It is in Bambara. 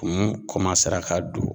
Kumun kɔmansera ka don